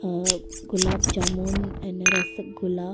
uh gulab jamun and rasgulla--